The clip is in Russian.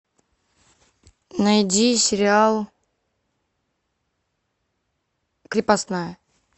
найди сериал крепостная